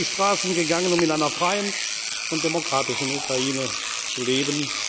Sie sind auf die Straßen gegangen, um in einer freien und demokratischen Ukraine zu leben.